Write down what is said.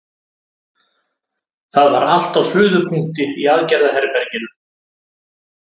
Það var allt á suðupunkti í aðgerðaherberginu.